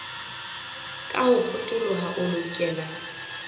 ka ho potoloha o lokela